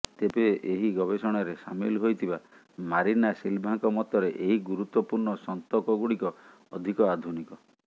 ତେବେ ଏହ ଗବେଷଣାରେ ସାମିଲ ହୋଇଥିବା ମାରିନା ସିଲଭାଙ୍କ ମତରେ ଏହି ଗୁରୁତ୍ୱପୂର୍ଣ୍ଣ ସନ୍ତକଗୁଡିକ ଅଧିକ ଆଧୁନିକ